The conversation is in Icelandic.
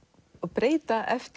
breyta eftir